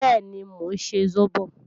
Bẹ́ẹ̀ni, mò ń ṣe sóbò